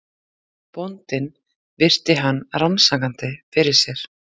Bóndinn virti hann rannsakandi fyrir sér.